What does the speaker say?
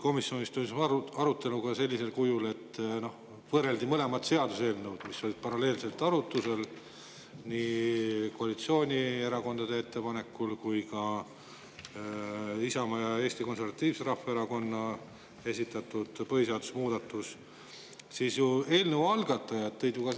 Komisjonis toimus arutelu sellisel kujul, et võrreldi mõlemat seaduseelnõu, mis olid paralleelselt arutlusel, nii koalitsioonierakondade ettepanekut kui ka Isamaa ja Eesti Konservatiivse Rahvaerakonna esitatud põhiseaduse muudatust.